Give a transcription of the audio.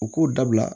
U k'u dabila